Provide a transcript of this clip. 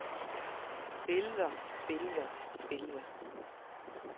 billeder billeder billeder